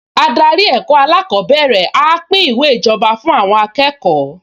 Adarí ẹ̀kọ́ alákọ̀ọ́bẹ̀rẹ̀ á pín ìwé ìjọba fún àwọn akẹ́kọ̀ọ